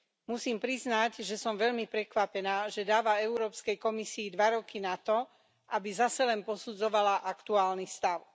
Musím priznať, že som veľmi prekvapená, že dáva Európskej komisii dva roky nato, aby zase len posudzovala aktuálny stav.